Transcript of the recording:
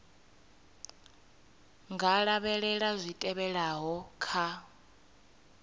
nga lavhelela zwi tevhelaho kha